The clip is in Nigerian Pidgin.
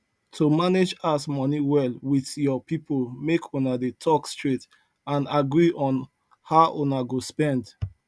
to manage house money well with your people make una dey talk straight and agree on how una go spend